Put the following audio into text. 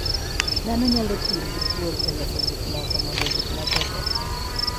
Dhano nyalo tiyo gi thuol e loso gik moko mondo gik moko okethre.